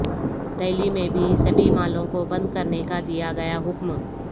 دہلی میں بھی سبھی مالوں کو بند کرنے کا دیا گیا حکم